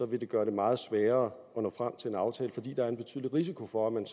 vil gøre det meget sværere at nå frem til en aftale fordi der er en betydelig risiko for at man